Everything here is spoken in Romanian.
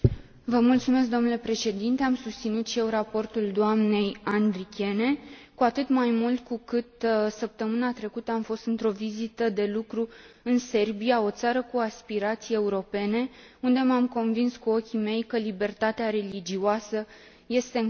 Am susținut și eu raportul dnei Andrikienė, cu atât mai mult cu cât săptămâna trecută am fost într o vizită de lucru în Serbia, o țară cu aspirații europene, unde m am convins cu ochii mei că libertatea religioasă este încălcată.